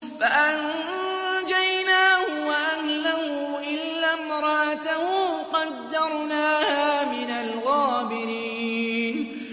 فَأَنجَيْنَاهُ وَأَهْلَهُ إِلَّا امْرَأَتَهُ قَدَّرْنَاهَا مِنَ الْغَابِرِينَ